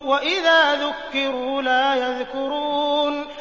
وَإِذَا ذُكِّرُوا لَا يَذْكُرُونَ